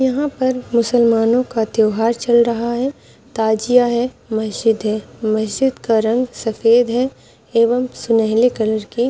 यहाँ पर मुसलमानों का त्योहार चल रहा है ताजिया है मशीद है मशीद का रंग सफ़ेद है एवम सुनहरे कलर के--